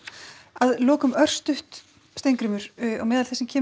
að lokum örstutt Steingrímur á meðal þess sem kemur